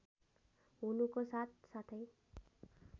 हुनुको साथ साथै